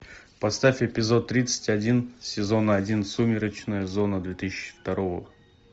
поставь эпизод тридцать один сезона один сумеречная зона две тысячи второго